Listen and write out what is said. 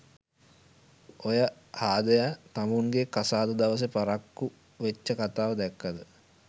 ඔය හාදය තමුන්ගෙ කසාද දවසෙ පරක්කු වෙච්ච කතාව දැක්කද?